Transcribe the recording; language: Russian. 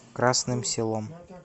красным селом